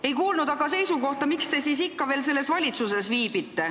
Ei kuulnud aga seisukohta, miks te siis ikka veel selles valitsuses viibite.